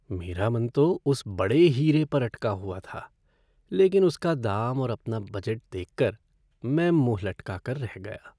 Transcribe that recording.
मेरा मन तो उस बड़े हीरे पर अटका हुआ था लेकिन उसका दाम और अपना बजट देखकर मैं मुँह लटका कर रह गया।